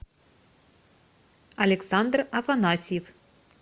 александр афанасьев